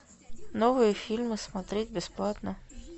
новые фильмы смотреть бесплатно